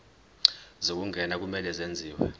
zokungena kumele kwenziwe